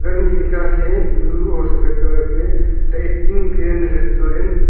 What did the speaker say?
घर में लिखा है ब्लू और सफेद कलर से द एट्टिन ग्रैंड रेस्टोरेंट ।